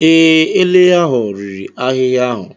Ee, ele ahụ riri ahịhịa ahụ.